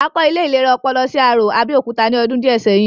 A kọ́ ilé ìlera ọpọlọ sí Arò, Abẹ́òkúta ní ọdún díẹ̀ sẹ́yìn